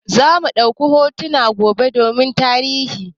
Zamu ɗauka hotuna gobe domin tarihi.